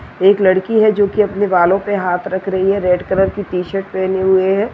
एक लड़की है जो की अपने बालों पर हाथ रख रही है रेड कलर की टी-शर्ट पहनी हुई है।